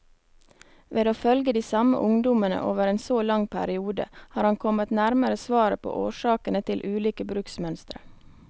Ved å følge de samme ungdommene over en så lang periode, har han kommet nærmere svaret på årsakene til ulike bruksmønstre.